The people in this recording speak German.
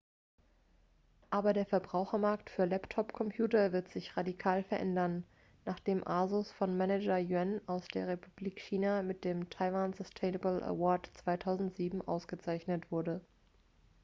aber der verbrauchermarkt für laptop-computer wird sich radikal verändern nachdem asus von manager yuan aus der republik china mit dem taiwan sustainable award 2007 ausgezeichnet wurde